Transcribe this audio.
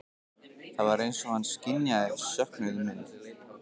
Það var eins og hann skynjaði söknuð minn.